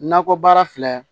Nakɔ baara filɛ